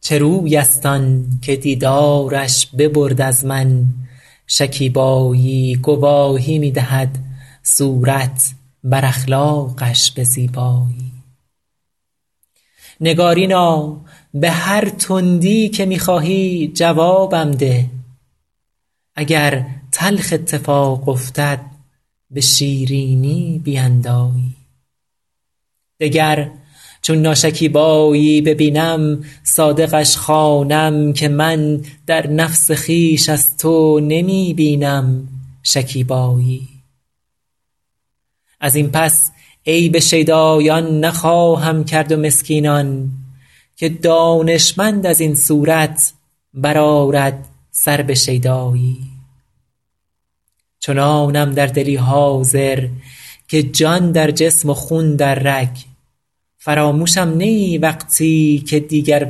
چه روی است آن که دیدارش ببرد از من شکیبایی گواهی می دهد صورت بر اخلاقش به زیبایی نگارینا به هر تندی که می خواهی جوابم ده اگر تلخ اتفاق افتد به شیرینی بیندایی دگر چون ناشکیبایی ببینم صادقش خوانم که من در نفس خویش از تو نمی بینم شکیبایی از این پس عیب شیدایان نخواهم کرد و مسکینان که دانشمند از این صورت بر آرد سر به شیدایی چنانم در دلی حاضر که جان در جسم و خون در رگ فراموشم نه ای وقتی که دیگر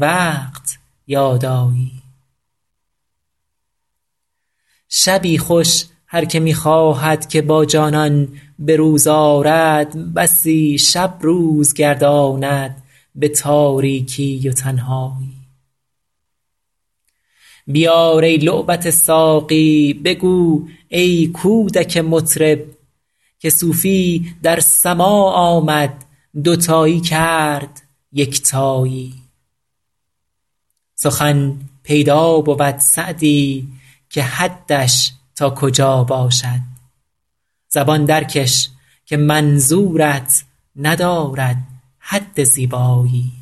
وقت یاد آیی شبی خوش هر که می خواهد که با جانان به روز آرد بسی شب روز گرداند به تاریکی و تنهایی بیار ای لعبت ساقی بگو ای کودک مطرب که صوفی در سماع آمد دوتایی کرد یکتایی سخن پیدا بود سعدی که حدش تا کجا باشد زبان درکش که منظورت ندارد حد زیبایی